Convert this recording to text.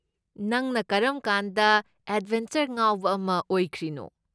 ꯅꯪꯅ ꯀꯔꯝꯀꯥꯟꯗ ꯑꯦꯗꯕꯦꯟꯆꯔꯗ ꯉꯥꯎꯕ ꯑꯃ ꯑꯣꯏꯈ꯭ꯔꯤꯅꯣ?